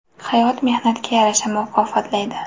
Hayot mehnatga yarasha mukofotlaydi.